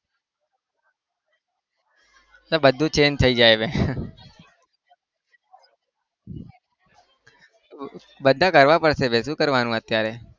એ બધું change થઇ જાય બે બધા કરવા પડશે બે શું કરવાનું અત્યારે?